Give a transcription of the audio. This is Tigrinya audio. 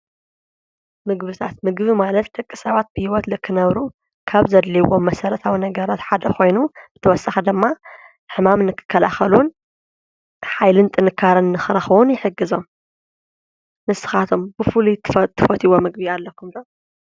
ምግብታት፡- ምግቢ ማለት ደቂ ሰባት ብህይወት ልክነብሩ ካብ ዘድልይዎም መሠረታዊ ነገራት ሓደ ኾይኑ ብተወሳኺ ደማ ሕማም ንክከልኸሉን ሓይልን ጥንካርን ኽረኽቡዉን ይሕግዞም፡፡ ንስኻቶም ብፉሉይ ትፈቲይዎ ምግቢ ኣለኹም ዶ?